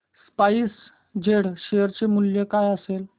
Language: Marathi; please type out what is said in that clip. स्पाइस जेट शेअर चे मूल्य काय असेल